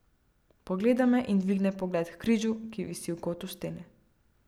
Pogleda me in dvigne pogled h križu, ki visi v kotu stene.